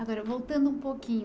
Agora, voltando um pouquinho.